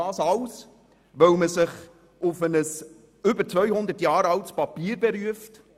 Das alles, weil man sich auf ein über 200 Jahre altes Papier beruft.